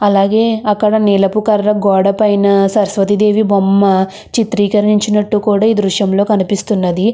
అలాగే అక్కడ నిలుపు కలర్ రంగు గోడ పైన సరస్వతి దేవి బొమ్మ చితిరకరించినట్టు కూడా ఈ దుర్షం లో కనిపిస్తునది.